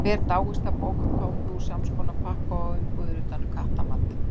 Hver dáist að bókarkápu úr samskonar pappa og umbúðir utan um kattamat?